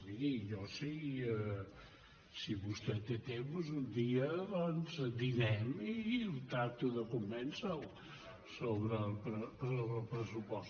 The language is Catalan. miri si vostè té temps un dia dinem i tracto de convèncer lo sobre el pressupost